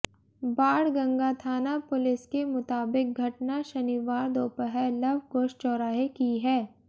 बाणगंगा थाना पुलिस के मुताबिक घटना शनिवार दोपहर लवकुश चौराहे की है